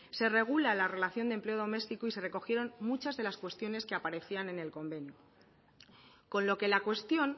se regula la relación de empleo doméstico y se recogieron muchas de las cuestiones que aparecían en el convenio con lo que la cuestión